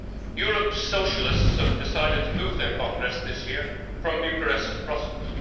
Europe's Socialists have decided to move their congress this year from Bucharest to Brussels.